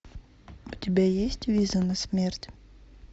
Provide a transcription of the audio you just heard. у тебя есть виза на смерть